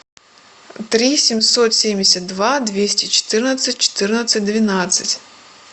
три семьсот семьдесят два двести четырнадцать четырнадцать двенадцать